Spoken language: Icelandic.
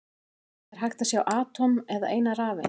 Er hægt að sjá eitt atóm eða eina rafeind?